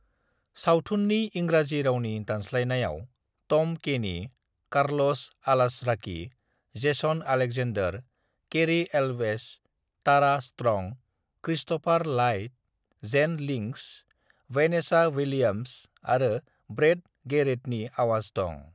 "सावथुननि इंराजि रावनि दानस्लायनायाव Tom Kenny, Carlos Alazraqui, Jason Alexander, Cary Elwes, Tara Strong, Christopher Lloyd, Jane Lynch, Vanessa Williams आरो Brad गैरेटनि आवाज दं।"